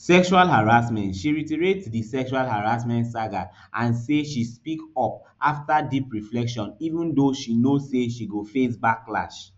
sexual harassment she reiterate di sexual harassment saga and say she speak up afta deep reflection even though she know say she go face backlash